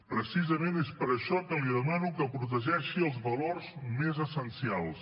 precisament és per això que li demano que protegeixi els valors més essencials